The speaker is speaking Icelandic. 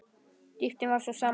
Dýptin var sú sama.